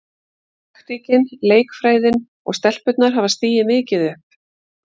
Taktíkin, leikfræðin og stelpurnar hafa stigið mikið upp.